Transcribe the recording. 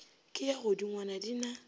ke ya godingwana di na